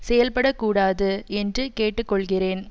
செயல்படக்கூடாது என்று கேட்டுக்கொள்கிறேன்